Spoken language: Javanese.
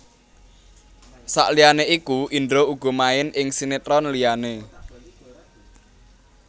Saliyané iku Indra uga main ing sinetron liyané